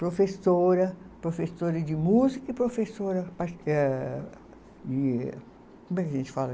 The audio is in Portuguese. Professora, professora de música e professora de. Como é que a gente fala?